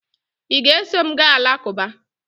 ị ga-eso m gaa alakụba?